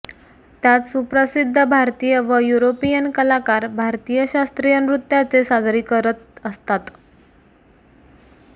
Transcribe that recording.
त्यात सुप्रसिध्द भारतीय व युरोपीयन कलाकार भारतीय शास्त्रीय नृत्याचे सादरी करत असतात